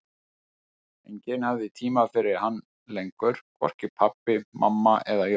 Enginn hafði tíma fyrir hann lengur, hvorki pabbi, mamma eða Jói.